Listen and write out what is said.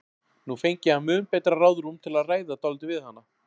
Nú fengi hann mun betra ráðrúm til að ræða dálítið við hana.